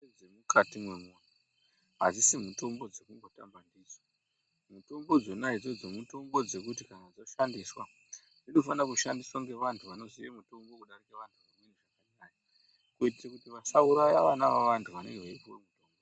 Mutombo dzemukati mwemuntu, adzisi mitombo dzekumbotamba ndidzo. Mutombo dzona idzodzo mitombo dzekuti kana dzoshandiswa dzinofanira kushandiswa ngevantu vanoziya mutombo kudarika vantu vamweni. Kuitira kuti vasauraya vana vevantu vanenge veipuwa mutombo.